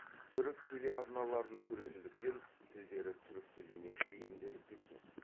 түрік телеарналарын көретіндіктен тілдері түрік тіліне бейімделіп кеткен